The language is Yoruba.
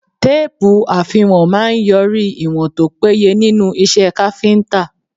Téèpù àfiwọ̀n máà ń yọrí ìwọ̀n tó péye nínú iṣẹ́ káfíńtà.